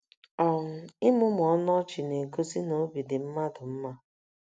um Ịmụmụ ọnụ ọchị na - egosi na obi dị mmadụ mma.